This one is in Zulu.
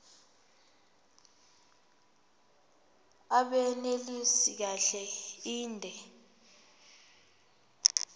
abunelisi kahle inde